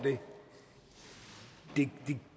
det